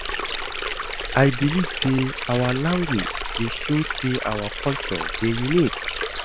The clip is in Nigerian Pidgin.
I believe sey our language dey show sey our culture dey unique.